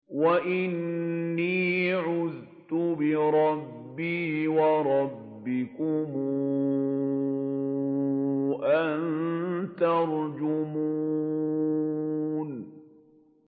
وَإِنِّي عُذْتُ بِرَبِّي وَرَبِّكُمْ أَن تَرْجُمُونِ